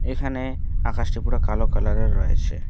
এখানে আকাশটি পুরা কালো কালারের রয়েছে।